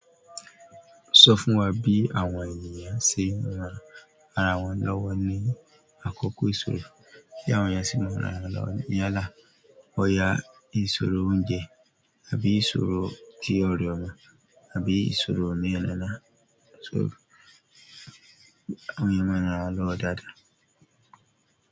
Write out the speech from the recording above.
Sọ fún wa bí àwọn ènìyàn ṣe yan ara wọn lọ́wọ́ ní àkókò ìṣòro, bí àwọn ènìyàn ṣe máa ń ran ara wọn lọ́wọ́ níyà lá, bọ̀yà ìṣòro oúnjẹ àbí ìṣòro tí ọrẹ ọmọ, àbí ìṣòro oníyàrá náà ṣòro, àwọn ènìyàn máa ń ran ara wọn lọ́wọ́ dáadáa.